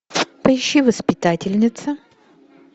поищи воспитательница